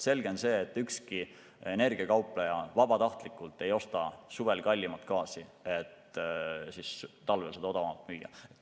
Selge on see, et ükski energiakaupleja vabatahtlikult ei osta suvel kallimat gaasi, et talvel seda odavamalt müüa.